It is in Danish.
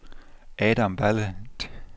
Adam Balle